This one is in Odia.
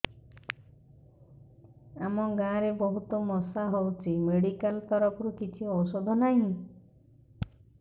ଆମ ଗାଁ ରେ ବହୁତ ମଶା ହଉଚି ମେଡିକାଲ ତରଫରୁ କିଛି ଔଷଧ ନାହିଁ